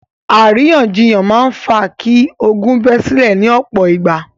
Àríyànjiyàn máa ń fa kí ogún bẹ́ sílẹ̀ ní ọ̀pọ̀ ìgbà.